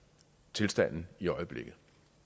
tilstanden i øjeblikket